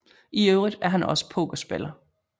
I øvrigt er han også pokerspiller